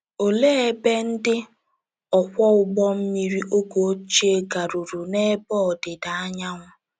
Olee ebe ndị ọkwọ ụgbọ mmiri oge ochie garuru n’ebe ọdịda anyanwụ?